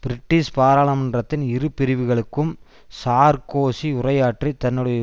British பாராளுமன்றத்தின் இரு பிரிவுகளுக்கும் சார்க்கோசி உரையாற்றி தன்னுடைய